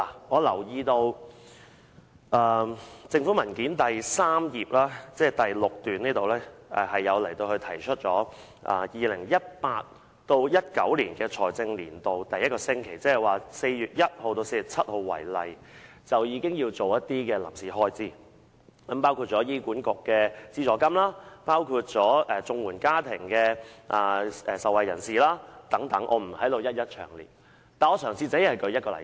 我留意到政府文件指出，以 2018-2019 財政年度第一個星期，即以4月1日至4日7日為例，政府便要支付一些開支，包括醫院管理局的資助金、綜援受助家庭的補助金等，我不在此一一詳述，而只舉出一個例子。